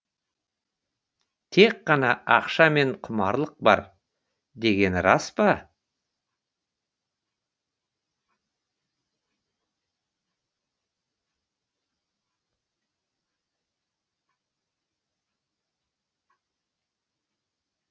тек қана ақша мен құмарлық бар дегені рас па